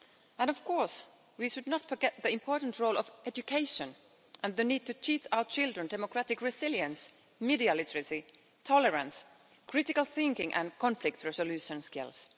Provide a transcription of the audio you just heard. And of course we should not forget the important role of education and the need to teach our children democratic resilience, media literacy, tolerance, critical thinking and conflict resolution skills.